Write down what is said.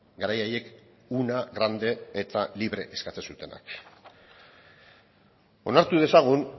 garai haiek una grande eta libre eskatzen zutenak onartu dezagun